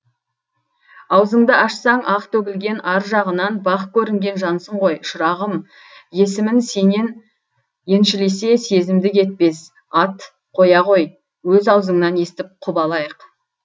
аузыңды ашсаң ақ төгілген ар жағынан бақ көрінген жансың ғой шырағым есімін сенен еншілесе семіздік етпес ат қоя ғой өз аузыңнан естіп құп алайық